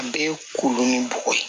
A bɛɛ ye kolon ni bɔgɔ ye